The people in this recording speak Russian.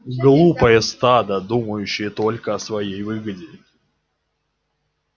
глупое стадо думающее только о своей выгоде